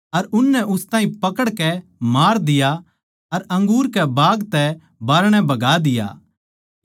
अर उननै उस ताहीं पकड़कै मार दिया अर अंगूर के बाग तै बाहरणै बगा दिया